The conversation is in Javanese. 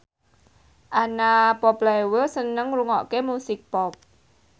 Anna Popplewell seneng ngrungokne musik pop